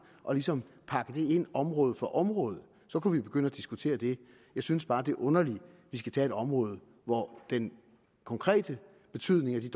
og ligesom pakke det ind område for område så kunne vi begynde at diskutere det jeg synes bare det er underligt at vi skal tage et område hvor den konkrete betydning af de